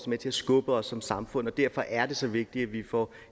med til at skubbe os som samfund og derfor er det så vigtigt at vi får